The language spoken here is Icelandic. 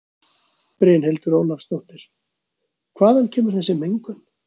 Brynhildur Ólafsdóttir: Hvaðan kemur þessi mengun?